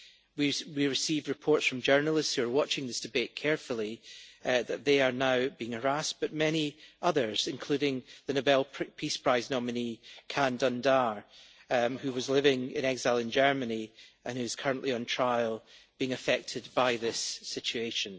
We have received reports from journalists who are watching this debate carefully that they are now being harassed, and many others including the Nobel Peace Prize nominee Can Dündar who is living in exile in Germany and who is currently on trial are also being affected by this situation.